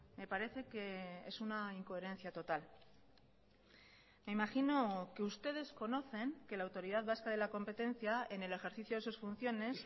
me parece que es una incoherencia total me imagino que ustedes conocen que la autoridad vasca de la competencia en el ejercicio de sus funciones